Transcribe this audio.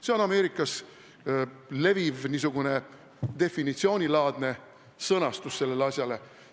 See on Ameerikas leviv definitsioonilaadne sõnastus sellele asjale.